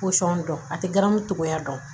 Pɔsɔn dɔn a tɛ ganmu cogoya dɔn